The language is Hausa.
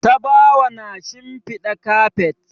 Tabawa na shinfiɗa kafet.